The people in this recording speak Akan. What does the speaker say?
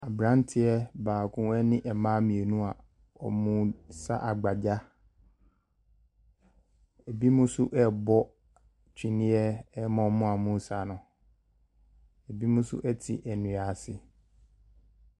Aberanteɛ baako ne mmaa mmienu a wɔresa agbagya. Ebinom nso rebɔ twene ma wɔn a wɔresa no. Ebinom nso te nnua ase.